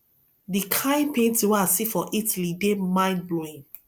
the kin painting wey i see for italy dey mind blowing